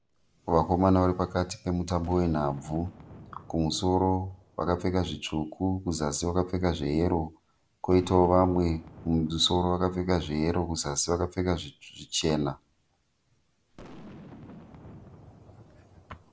Vakomana varipakati pemutambo wenhabvu. Kumusoro vakapfeka zvitsvuku kuzasi vakapfeka zveyero. Koitawo vamwe kumusoro vakapfeka zveyero kuzasi vakapfeka zvichena.